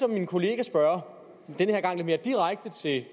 min kollega spørge denne gang lidt mere direkte til